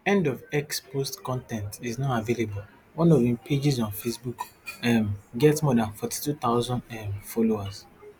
end of x post con ten t is not available one of im pages on facebook um get more dan forty-two thousand um followers